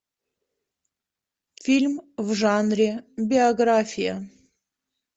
фильм в жанре биография